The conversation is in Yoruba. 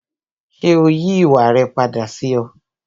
Ṣé ó yí ìwà rẹ padà sí ọ?